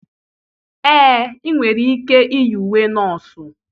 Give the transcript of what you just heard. ee, ị nwere ike iyi uwe nọọsụ